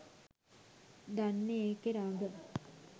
දන්නේ ඒකේ රඟ.